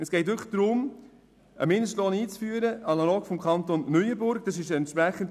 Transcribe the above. Es geht darum, einen Mindestlohn analog zum Kanton Neuenburg einzuführen.